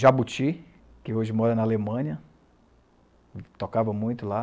Jabuti, que hoje mora na Alemanha, tocava muito lá.